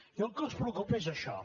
i el que els preocupa és això